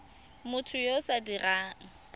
motho yo o sa dirang